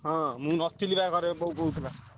ହଁ ମୁଁ ନଥିଲି ବା ଘରେ ବୋଉ କହୁଥିଲା।